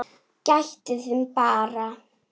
Gættu þín bara!